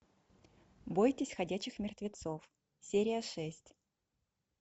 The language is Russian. бойтесь ходячих мертвецов серия шесть